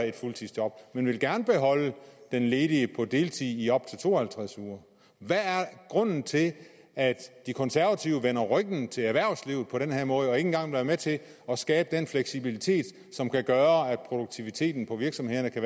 et fuldtidsjob men gerne vil beholde den ledige på deltid i op til to og halvtreds uger hvad er grunden til at de konservative vender ryggen til erhvervslivet på den her måde og ikke engang vil være med til at skabe den fleksibilitet som kan gøre at produktiviteten på virksomhederne kan